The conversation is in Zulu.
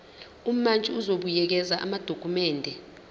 umantshi uzobuyekeza amadokhumende